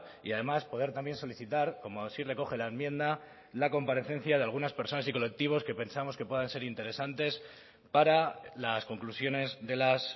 y además poder también solicitar como así recoge la enmienda la comparecencia de algunas personas y colectivos que pensamos que puedan ser interesantes para las conclusiones de las